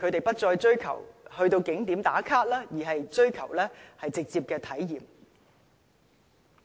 不再追求到景點"打卡"，而是追求直接的體驗。